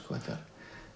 þetta